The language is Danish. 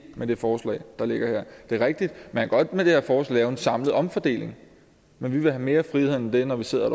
med det forslag der ligger her det er rigtigt at man med det her forslag en samlet omfordeling men vi vil have mere frihed end det når vi sidder